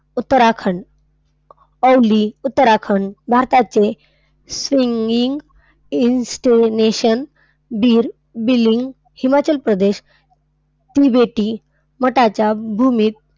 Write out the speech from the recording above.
उत्तराखंड. औली उत्तराखंड भारताचे singing in station Bir, Billing Himachal Pradesh तिबेटी मठाच्या भूमीत,